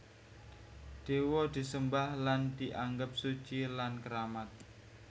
Dewa disembah lan dianggep suci lan keramat